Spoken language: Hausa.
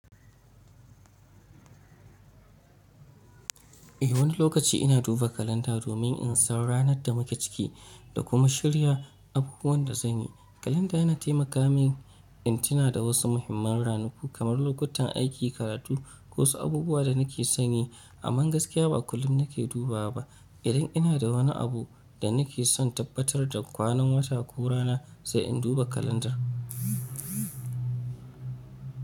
Eh, wani lokaci ina duba kalanda domin in san ranar da muka ciki da kuma shirya abubuwan da zanyi. Kalanda yana taimaka min in tuna da wasu muhimman ranaku kamar lokutan aiki, karatu ko wasu abubuwa da nake sani. Amma gaskiya ba kullum nake dubawa ba. Idan ina da wani abu da nake son tabbatar da kwanan wata ko rana, sai in duba kalandar.